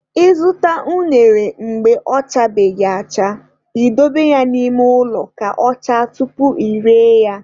I zụta unere mgbe ọ chabeghị acha, e dobe ya n'ime ụlọ ka ọ chaa tupu e ree ya.